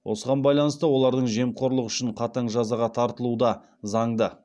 осыған байланысты олардың жемқорлық үшін қатаң жазаға тартылуы да заңды